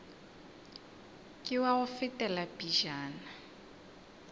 ke wa go fetela pejana